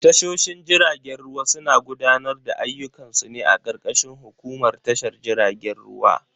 Tashoshin jiragen ruwa suna gudanar da ayyukan su ne a karkashin hukumar tashar jiragen ruwa.